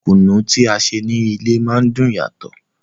Kùnú tí a ṣe ní ilé má ń dùn yàtò.